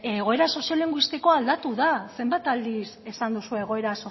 egoera soziolinguistikoa aldatu da zenbat aldiz esan duzue egoera